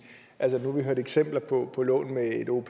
altså nu har vi hørt eksempler på på lån med